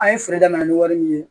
An ye feere daminɛ ni wari min ye